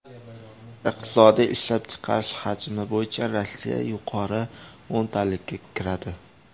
Iqtisodiy ishlab chiqarish hajmi bo‘yicha Rossiya yuqori o‘ntalikka kiradi.